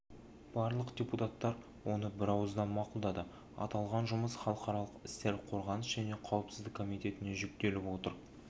барлық депутаттар оны бірауыздан мақұлдады аталған жұмыс халықаралық істер қорғаныс және қауіпсіздік комитетіне жүктеліп отыр